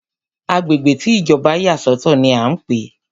Agbègbè tí Ìjọba yà sọ̀tọ̀ ní a ń pé.